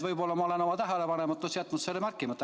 Võib-olla ma olen oma tähelepanematuses jätnud selle märkamata.